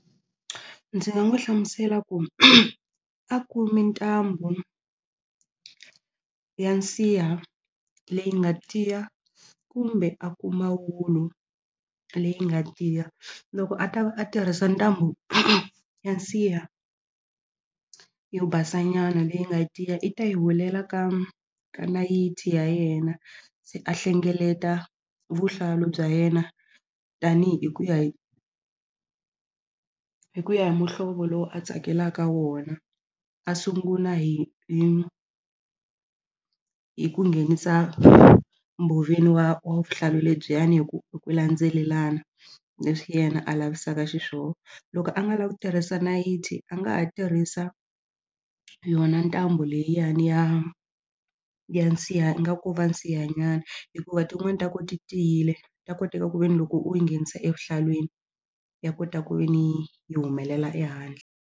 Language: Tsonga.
Ndzi nga n'wi hlamusela ku a kumi ntambu ya nsiha leyi nga tiya kumbe a kuma wulu leyi nga tiya loko a ta va a tirhisa ntambu ya nsiha yo basanyana leyi nga tiya i ta yi hulela ka ka nayiti ya yena se a hlengeleta vuhlalu bya yena tanihi hi ku ya hi ku ya hi muhlovo lowu a tsakelaka wona a sungula hi hi hi ku nghenisa mbhoveni wa wa vuhlalu lebyiyani hi ku hi ku landzelelana leswi yena a lavisaka xiswona loko a nga lavi ku tirhisa nayiti a nga ha tirhisa yona ntambu liyani ya ya nsiha ingaku ko va nsiha nyana hikuva tin'wani ta kona ti tiyile ta koteka ku ve ni loko u yi nghenisa evuhlalwini ya kota ku ve ni yi humelela ehandle.